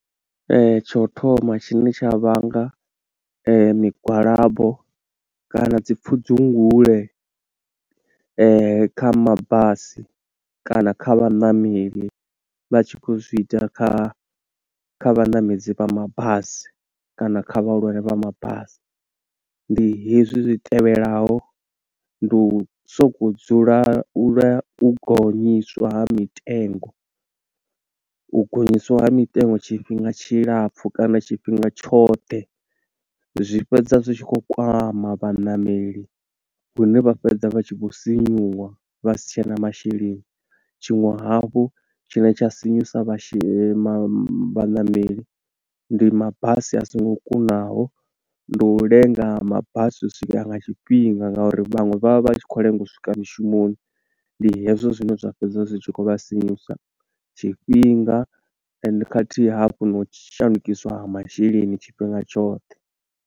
Ee, tsho u thoma tshine tsha vhanga migwalabo kana dzi pfudzungule kha mabasi kana kha vhaṋameli, vha tshi khou zwiita kha kha vhaṋamedzi vha mabasi kana kha vhahulwane vha mabasi. Ndi hezwi zwi tevhelaho, ndi u soko dzula lwa u gonyiswa ha mitengo, u gonyiswa ha mitengo tshifhinga tshilapfu kana tshifhinga tshoṱhe, zwi fhedza zwi tshi khou kwama vhaṋameli, hune vha fhedza vha tshi vho sinyuwa vha si tshena masheleni. Tshiṅwe hafhu tshine tsha sinyusa she ma vhaṋameli. ndi mabasi a songo kunaho, ndi u lenga ha mabasi u swika nga tshifhinga nga uri vhaṅwe vha vha vha tshi khou lenga u swika mushumoni. Ndi hezwo zwine zwa fhedza zwi tshi khou vha sinyusa tshifhinga and khathihi hafhu na u shandukiswa ha masheleni tshifhinga tshoṱhe.